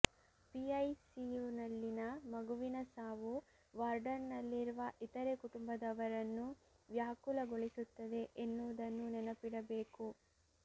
ಪಿಐಸಿಯುನಲ್ಲಿನ ಮಗುವಿನ ಸಾವು ವಾರ್ಡ್ನಲ್ಲಿರುವ ಇತರೆ ಕುಟುಂಬದವರನ್ನೂ ವ್ಯಾಕುಲಗೊಳಿಸುತ್ತದೆ ಎನ್ನುವುದನ್ನು ನೆನಪಿಡಬೇಕು